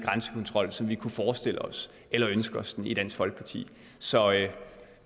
grænsekontrol som vi kunne forestille os eller ønske os den i dansk folkeparti så